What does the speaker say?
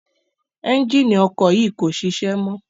Ẹ́njíìnì ọkọ̀ yìí kò ṣiṣẹ́ mọ́.